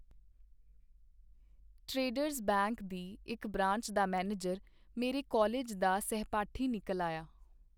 Traders bank ਦੀ ਇਕ branch ਦਾ ਮੈਨੇਜਰ ਮੇਰਾ ਕਾਲਿਜ ਦਾ ਸਹਿਪਾਠੀ ਨਿਕਲ ਆਇਆ.